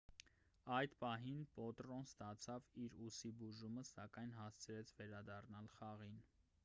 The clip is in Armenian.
այդ պահին պոտրոն ստացավ իր ուսի բուժումը սակայն հասցրեց վերադառնալ խաղին